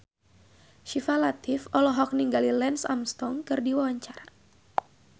Syifa Latief olohok ningali Lance Armstrong keur diwawancara